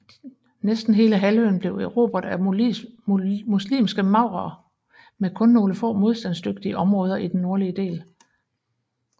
Næsten hele halvøen blev erobret af muslimske maurerne med kun nogle få modstandsdygtige områder i den nordlige del